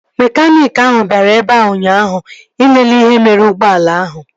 Mekaniiki ahụ bịara ebea ụnyaahụ ịlele ihe mere ụgbọala ahụ